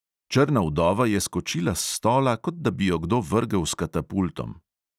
Črna vdova je skočila s stola, kot da bi jo kdo vrgel s katapultom.